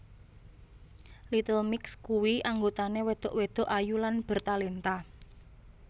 Little Mix kuwi anggotane wedok wedok ayu lan bertalenta